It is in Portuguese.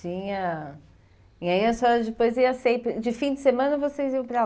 Sim, a... E aí a senhora depois ia sempre... De fim de semana vocês iam para